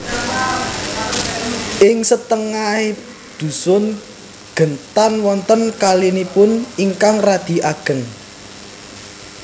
Ing satengahing dhusun Gentan wonten kalinipun ingkang radi ageng